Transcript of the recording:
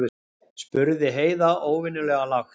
spurði Heiða óvenjulega lágt.